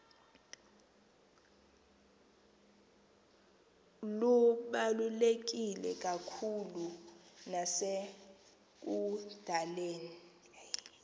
lubaluleke kakhulu nasekudaleni